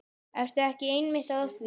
Ertu ekki einmitt að því?